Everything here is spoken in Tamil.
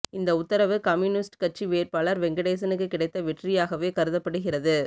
இந்த உத்தரவு கம்யூனிஸ்ட் கட்சி வேட்பாளர் வெங்கடேசனுக்கு கிடைத்த வெற்றியாகவே கருதப்படுகிறது